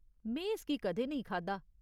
में इसगी कदें नेईं खाद्धा।